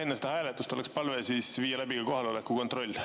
Enne seda hääletust oleks palve viia läbi kohaloleku kontroll.